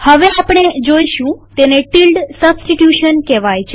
હવે આપણે જોઈશું તેને ટીલ્ડ સબસ્ટીટ્યુશન કહેવાય છે